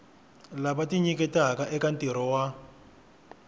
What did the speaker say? lava tinyiketaka eka ntirho wa